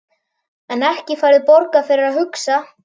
En ekki færðu borgað fyrir að hugsa?